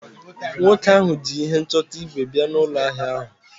nwoke ahu ji ihe nchọta ígwè bia n’ụlọ ahịa ahụ